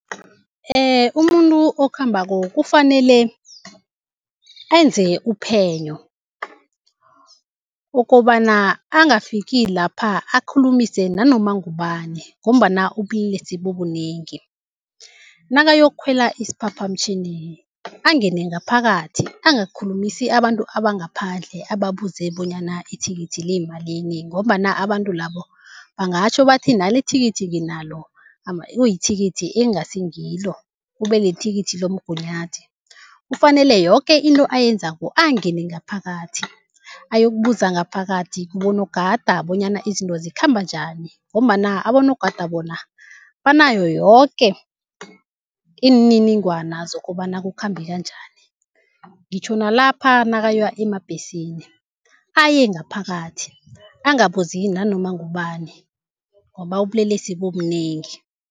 Umuntu okhambako kufanele enze uphenyo ukobana angafiki lapha akhulumise nanoma ngubani ngombana ubulelesi bubunengi. Nakayokukhwela isiphaphamtjhini angene ngaphakathi angakhulumisi abantu abangaphandle ababuze bonyana ithikithi liyimalini ngombana abantu labo bangatjho bathi nalithikithi nginalo, kuyithikithi ekungasingiyo kube yithikithi lomgunyathi. Kufanele yoke into ayenzako angene ngaphakathi, ayokubuza ngaphakathi kubonogada bonyana izinto zikhamba njani, ngombana abonogada bona banayo yoke imininingwana zokobana kukhambeka njani. Ngitjho nalapha nakaya emabhesini aye ngaphakathi angabuzi nanoma ngubani, ngoba ubulelesi bunengi.